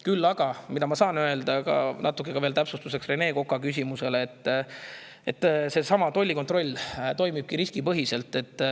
Küll aga saan ma öelda, natuke ka Rene Koka küsimuse täpsustuseks, et tollikontroll toimib riskipõhiselt.